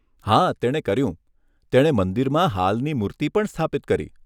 હા તેણે કર્યું, તેણે મંદિરમાં હાલની મૂર્તિ પણ સ્થાપિત કરી.